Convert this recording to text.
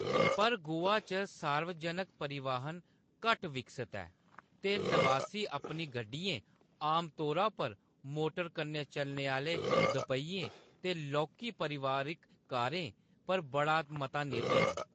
पर, गोवा च सार्वजनक परिवहन घट्ट विकसत ऐ, ते नवासी अपनी गड्डियें, आमतौरा पर मोटर कन्नै चलने आह्‌ले दोपेहियें ते लौह्‌‌‌की पारिवारिक कारें, पर बड़ा मता निर्भर न।